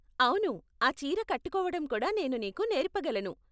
అవును, ఆ చీర కట్టుకోవటం కూడా నేను నీకు నేర్పగలను.